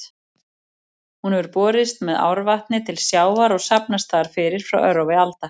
Hún hefur borist með árvatni til sjávar og safnast þar fyrir frá örófi alda.